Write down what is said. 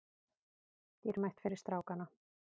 Dýrmætt fyrir strákana